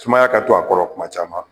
Sumaya ka to a kɔrɔ kuma caman